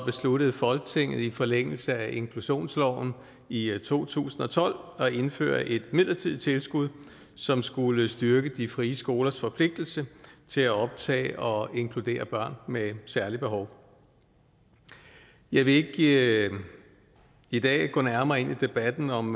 besluttede folketinget i forlængelse af inklusionsloven i to tusind og tolv at indføre et midlertidigt tilskud som skulle styrke de frie skolers forpligtelse til at optage og inkludere børn med særlige behov jeg vil ikke i dag gå nærmere ind i debatten om